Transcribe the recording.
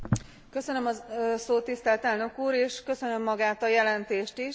Köszönöm a szót tisztelt Elnök úr, és köszönöm magát a jelentést is.